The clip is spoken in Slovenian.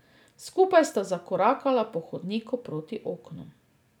Skupaj sta zakorakala po hodniku proti oknom.